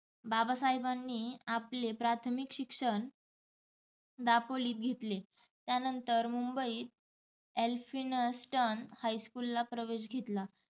बाबसहेबांनी आपले प्राथमिक शिक्षण दापोलीत घेतले त्यानंतर मुंबई एलफ्निस्टन हायस्कुल प्रवेश घेतला.